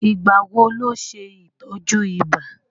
Ìgbà wo ló ṣe ìtọ́jú ibà?